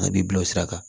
A b'i bila o sira kan